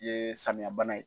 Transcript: Yee samiya bana ye